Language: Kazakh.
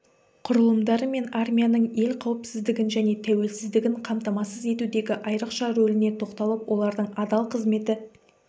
құрылымдары мен армияның ел қауіпсіздігін және тәуелсіздігін қамтамасыз етудегі айрықша рөліне тоқталып олардың адал қызметі